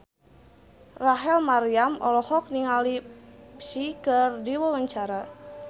Rachel Maryam olohok ningali Psy keur diwawancara